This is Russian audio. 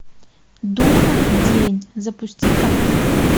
духов день запусти ка